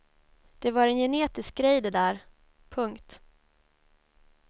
Det var en genetisk grej det där. punkt